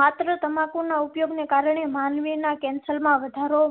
માત્ર તમાકુ ના ઉપયોગ ને કારણે માનવી ના cancer માં વધારો.